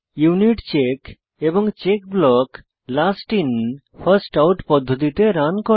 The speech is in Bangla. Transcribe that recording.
ইউনিটচেক এবং check block last in first out পদ্ধতিতে রান হয়